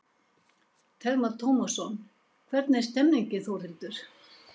Telma Tómasson: Hvernig er stemningin Þórhildur?